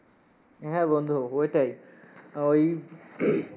হ্যাঁ বন্ধু ওইটাই। ওই